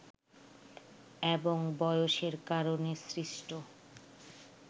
এবং বয়সের কারণে সৃষ্ট